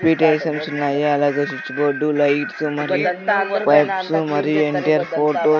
sweet items ఉన్నాయి అలాగే switch board lights మరియు వైప్స్ మరియు ఎన్టీఆర్ ఫోటో --